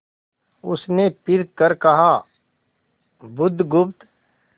उसने फिर कर कहा बुधगुप्त